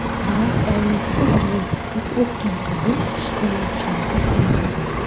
Biroq Oliy sud raisisiz o‘tgan qabul shikoyatchilarni qoniqtirmadi.